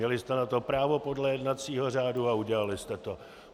Měli jste na to právo podle jednacího řádu a udělali jste to.